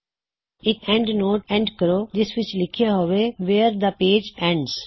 ਇਕ endnote add ਕਰੋ ਜਿਸ ਵਿੱਚ ਲਿਖਿਆ ਹੋਵੇ ਵਿਯਰ ਦਾ ਪੇਜ ਐੰਡਜ਼